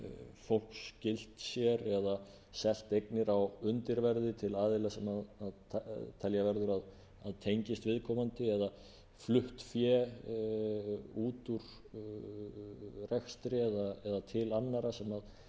fólks skylt sér eða selt eignir á undirverði til aðila sem telja verður að tengist viðkomandi eða flutt fé út úr rekstri eða til annarra sem